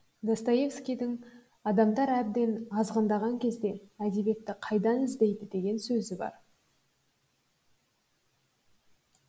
достоевскийдың адамдар әбден азғындаған кезде әдебиетті қайтадан іздейді деген сөзі бар